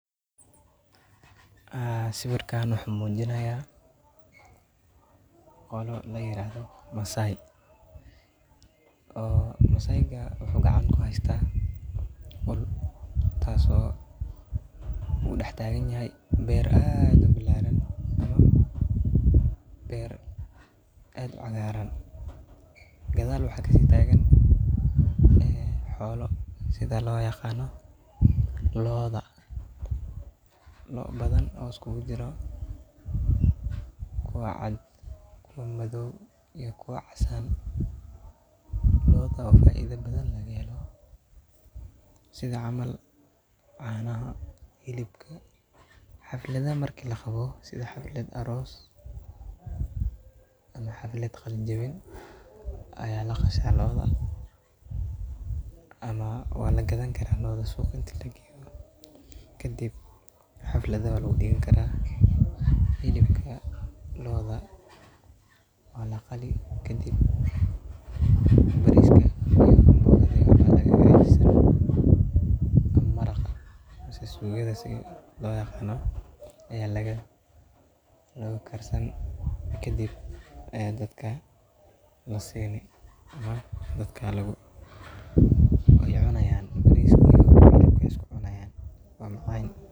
Haa sawirkan wuxuu muujinayaa koolo la yiraahdo Maasai. Oo Maasai ga wuxu gacan ku haysta uul taaso uu dhax taagan yahay beer aado bilaaran ama beer aad u cagaaran. Gadaal waxaa kaa si taagan ee xoolo sida loyaqaano looda. loo badan oo isku guu jiro, kuwa cad, kuwa madow iyo kuwa casaan. Looda wa faaiido badan laga helo. Sida camaal caanaha, hilibka, xaflada markii la qabo, sida xaflad aroos ama xaflad qalinjebin ayaa la qashaa looda, ama waa la gadan karaa looda suuq inti lageeo kadib xafladu waa la u dhign karaa. hilibka looda waa la qali kadib bariska iyo mbogadu ayuu yiri. ama marak? mise su suuqadha loyaqaano ayaa laga lagu karsan kadib ayaa dadka la seenay ama dadka lagu cunayaan bariskana iyo hilib ayasku cunayaan.